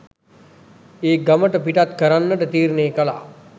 ඒ ගමට පිටත් කරන්නට තීරණය කළා.